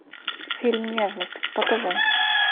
фильм нежность покажи